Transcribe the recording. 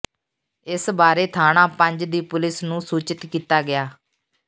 ਇਸ ਬਾਰੇ ਥਾਣਾ ਪੰਜ ਦੀ ਪੁਲਸ ਨੂੰ ਸੂਚਿਤ ਕੀਤਾ ਗਿਆ